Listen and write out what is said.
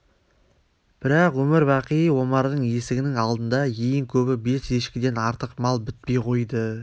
бірақ өмір-бақи омардың есігінің алдына ең көбі бес ешкіден артық мал бітпей қойды